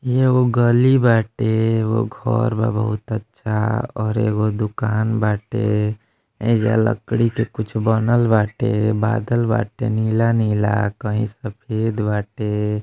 ई एगो गली बाटे| वो घर बा बहुत अच्छा और एगो दुकान बाटे| एजो लकड़ी के कुछ बना बाटे| बदल बाटे नीला नीला कही सफ़ेद बाटे।